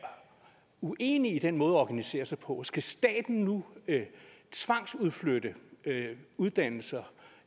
uenig i den måde at organisere sig på skal staten nu tvangsudflytte uddannelser